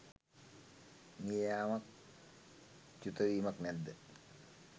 මිය යාමක් චුතවීමක් නැද්ද